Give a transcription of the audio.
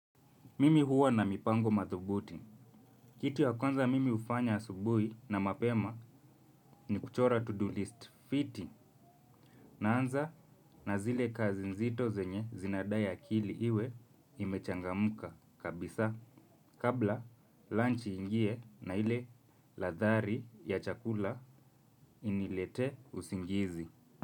Mimi huwa na mipango madhubuti. Kitu ya kwanza mimi hufanya asubuhi na mapema ni kuchora to-do list fiti. Naanza na zile kazi nzito zenye zinadai akili iwe imechangamka kabisa. Kabla lunch iingie na ile ladha ya chakula inilete usingizi.